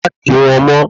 Màá kí wọ́n mo